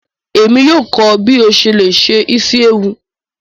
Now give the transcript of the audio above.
Emi yóò kọ ọ bi o ṣe le se isi ewu.